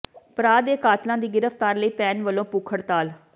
ਭਰਾ ਦੇ ਕਾਤਲਾਂ ਦੀ ਗ੍ਰਿਫ਼ਤਾਰ ਲਈ ਭੈਣ ਵੱਲੋਂ ਭੁੱਖ ਹੜਤਾਲ